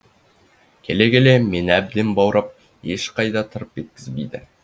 келе келе мені әбден баурап ешқайда тырп еткізбейді